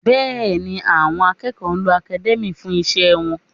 Bẹ́ẹ̀ni, àwọn akẹ́kọ̀ọ́ ń lo academia fún iṣẹ́ wọn